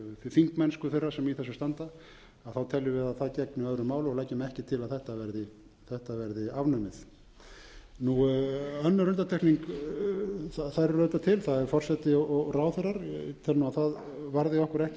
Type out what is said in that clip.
þingmennsku þeirra sem í þessu standa teljum viðað það gegni öðru máli og leggjum ekki til að þetta verði afnumið önnur undantekning þær eru auðvitað til það er forseti og ráðherrar tel nú að það varði okkur ekki